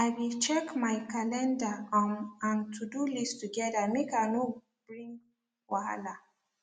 i be check my calendar um and todo list together make i no bring wahala